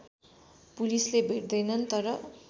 पुलिसले भेट्दैनन् तर